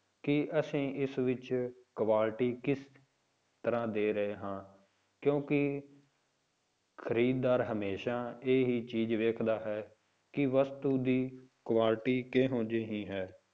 ਕੀ ਅਸੀਂ ਇਸ ਵਿੱਚ quality ਕਿਸ ਤਰ੍ਹਾਂ ਦੇ ਰਹੇ ਹਾਂ ਕਿਉਂਕਿ ਖ਼ਰੀਦਦਾਰ ਹਮੇਸ਼ਾ ਇਹ ਹੀ ਚੀਜ਼ ਵੇਖਦਾ ਹੈ ਕਿ ਵਸਤੂ ਦੀ quality ਕਿਹੋ ਜਿਹੀ ਹੈ।